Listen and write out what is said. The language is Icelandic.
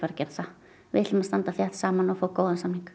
gera það við ætlum að standa saman og fá góðan samning